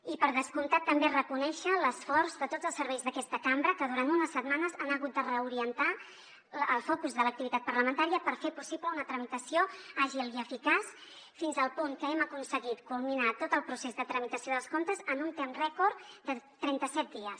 i per descomptat també reconèixer l’esforç de tots els serveis d’aquesta cambra que durant unes setmanes han hagut de reorientar el focus de l’activitat parlamentària per fer possible una tramitació àgil i eficaç fins al punt que hem aconseguit culminar tot el procés de tramitació dels comptes en un temps rècord de trenta set dies